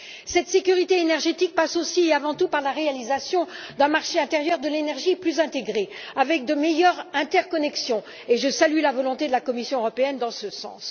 Cette sécurité énergétique passe aussi et avant tout par la réalisation d'un marché intérieur de l'énergie plus intégré, avec de meilleures interconnexions, et je salue la volonté de la Commission européenne dans ce sens.